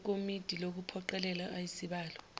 ekomidi lokuphoqelela ayisibalo